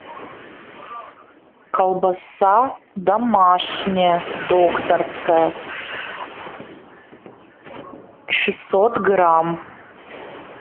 колбаса домашняя докторская шестьсот грамм